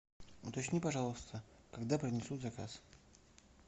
уточни пожалуйста когда принесут заказ